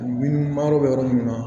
Min ma yɔrɔ bɛ yɔrɔ min na